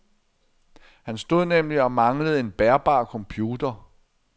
Han stod nemlig og manglede en bærbar computer.